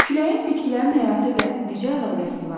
Küləyin bitkilərin həyatı ilə necə əlaqəsi var?